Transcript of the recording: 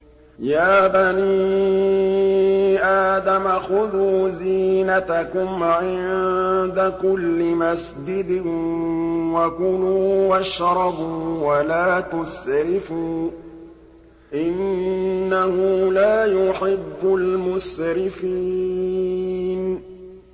۞ يَا بَنِي آدَمَ خُذُوا زِينَتَكُمْ عِندَ كُلِّ مَسْجِدٍ وَكُلُوا وَاشْرَبُوا وَلَا تُسْرِفُوا ۚ إِنَّهُ لَا يُحِبُّ الْمُسْرِفِينَ